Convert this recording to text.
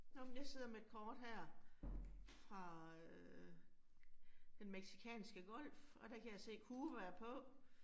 Nåh men jeg sidder med et kort her fra øh Den Mexicanske Golf, og der kan jeg se Cuba er på